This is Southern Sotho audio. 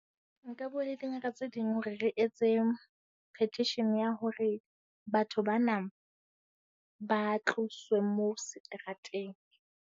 Nka bua le dingaka tse ding hore re etse petition ya hore batho bana ba tloswe moo seterateng.